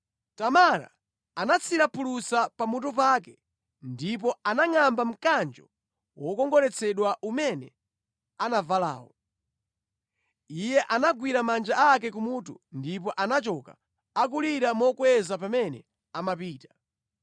Tamara anatsira phulusa pamutu pake ndipo anangʼamba mkanjo wokongoletsedwa umene anavalawo. Iye anagwira manja ake kumutu ndipo anachoka, akulira mokweza pamene amapita.